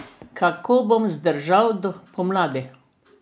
Kako bom zdržal do pomladi?